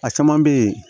A caman bɛ yen